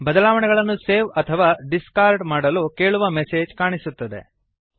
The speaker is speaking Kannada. ಬದಲಾವಣೆಗಳನ್ನು ಸೇವ್ ಅಥವಾ ಡಿಸ್ಕಾರ್ಡ್ ಮಾಡಲು ಕೇಳುವ ಮೆಸೇಜ್ ಕಾಣಿಸುತ್ತದೆ